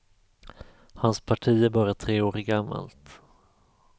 Hans parti är bara tre år gammalt.